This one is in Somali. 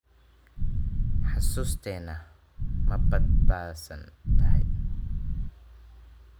Xusuusteena ma badbaadsan tahay?